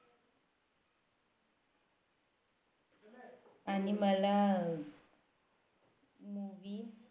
आणि मला Movie